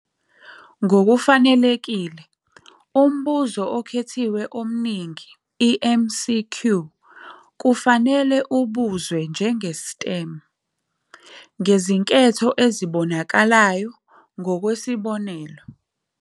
Ngokufanelekile, umbuzo okhethiwe omningi, i-MCQ, kufanele ubuzwe njenge- "STEM", ngezinketho ezibonakalayo, ngokwesibonelo-